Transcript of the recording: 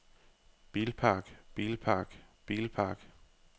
bilpark bilpark bilpark